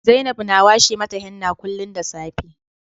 Zainab na washe mata henna kullum da safe